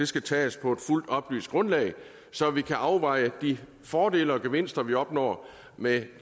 skal tages på et fuldt oplyst grundlag så vi kan afveje de fordele og gevinster vi opnår med